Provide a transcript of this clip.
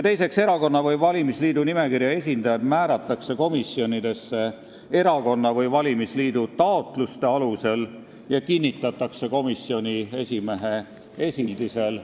Teiseks, erakonna või valimisliidu nimekirja esindajad määratakse komisjonidesse erakonna või valimisliidu taotluste alusel ja kinnitatakse komisjoni esimehe esildusel.